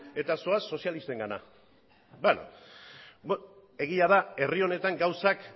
eta zoaz sozialistengana egia da herri honetan gauzak